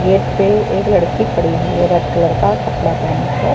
यहाँ पे एक लड़की खड़ी हुई है रेड कलर का कपड़ा के--